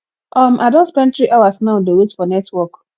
um i don spend three hours now dey wait for network